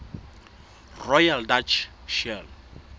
royal dutch shell